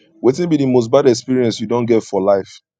wetin be di most bad experience you don get for life